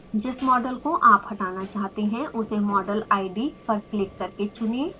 जिस मॉडल को आप हटाना चाहते हैं उसे model id पर क्लिक करके चुनें